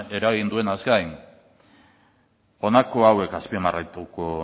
eragin duenaz gain honako hauek azpimarratuko